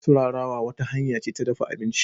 Turarawa wata hanya ce ta dafa abinci.